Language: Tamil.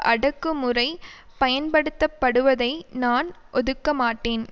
அடக்குமுறை பயன்படுத்தப்படுவதை நான் ஒதுக்க மாட்டேன்